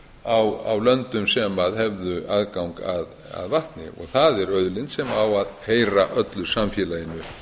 vatnsverksmiðjur á löndum sem hefðu aðgang að vatni og það er auðlind sem á að heyra öllu samfélaginu